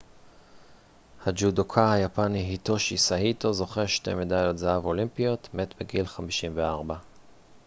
הג'ודוקה היפני היטושי סאיטו זוכה שתי מדליות זהב אולימפיות מת בגיל 54